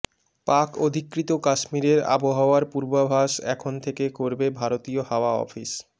পাক অধিকৃত কাশ্মীরের আবহাওয়ার পূর্বাভাস এখন থেকে করবে ভারতীয় হাওয়া অফিস